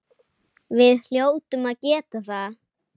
Við hljótum að geta það.